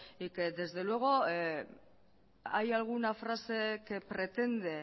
y que desde luego hay alguna frase que pretende